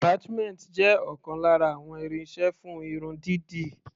Attachment jẹ́ ọ̀kan lára àwọn irinṣẹ́ fún irun dídì.